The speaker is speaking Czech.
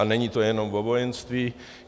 A není to jenom o vojenství.